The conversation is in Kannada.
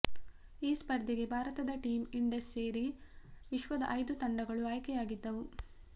ಈ ಸ್ಪರ್ಧೆಗೆ ಭಾರತದ ಟೀಮ್ ಇಂಡಸ್ ಸೇರಿ ವಿಶ್ವದ ಐದು ತಂಡಗಳು ಆಯ್ಕೆಯಾಗಿದ್ದವು